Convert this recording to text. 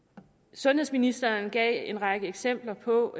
sundhedsministeren gav en række eksempler på